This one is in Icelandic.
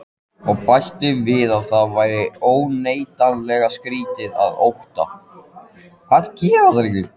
Og bætti við að það væri óneitanlega skrýtið, að Ottó